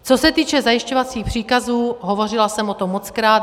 Co se týče zajišťovacích příkazů, hovořila jsem o tom mockrát.